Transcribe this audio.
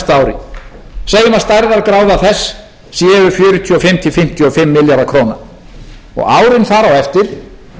að stærðargráða þess séu fjörutíu og fimm til fimmtíu og fimm milljarðar króna og árin þar á eftir einhverjir tíu til tuttugu milljarðar í